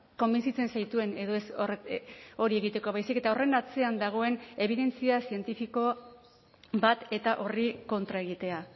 konbentzitzen zaituen edo ez hori egiteko baizik eta horren atzean dagoen ebidentzia zientifiko bat eta horri kontra egitea